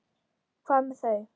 Hvað með þau?